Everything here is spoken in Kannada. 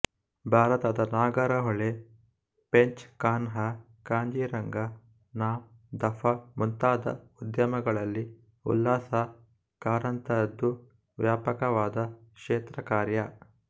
ಭಾರತದ ನಾಗರಹೊಳೆ ಪೆಂಚ್ ಕಾನ್ಹಾ ಖಾಜೀರಂಗ ನಾಮ್ ದಫಾ ಮುಂತಾದ ಉದ್ಯಾನಗಳಲ್ಲಿ ಉಲ್ಲಾಸ ಕಾರಂತರದು ವ್ಯಾಪಕವಾದ ಕ್ಷೇತ್ರಕಾರ್ಯ